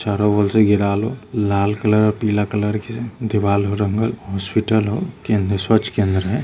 चारो ओर से घेरल हो लाल कलर और पीला कलर के दीवाल हो रंगल हॉस्पिटल हो केंद्र स्वच्छ केंद्र है।